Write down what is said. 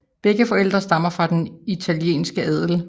Begge forældre stammer fra den italienske adel